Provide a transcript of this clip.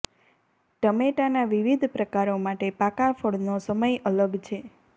ટમેટાના વિવિધ પ્રકારો માટે પાકા ફળનો સમય અલગ છે